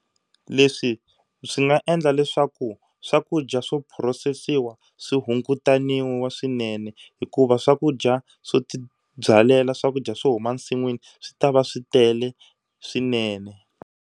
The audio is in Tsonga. Leswi swi nga endla leswaku swakudya swo phurosesiwa swi hungutaniwa swinene hikuva swakudya swo tibyalela swakudya swo huma nsin'wini swi ta va swi tele swinene.